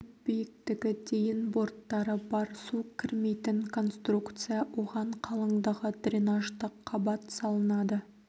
түп биіктігі дейін борттары бар су кірмейтін конструкция оған қалыңдығы дренаждық қабат салынады